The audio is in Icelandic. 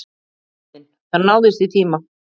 Héðinn: Það náðist í tíma?